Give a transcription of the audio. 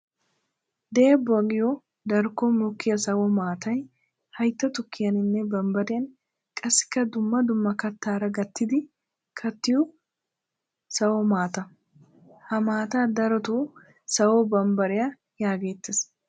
Deebbbuwa giyo darkkon mokiya sawo maattay haytta tukiyaninne bambbariya qassikka dumma dumma kattara gattiddi kattiyo sawo maata. Ha maata darotta sawo bambbariyan yegeettes.